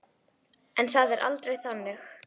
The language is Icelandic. En það er aldrei þannig.